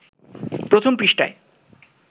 প্রথম পৃষ্ঠায়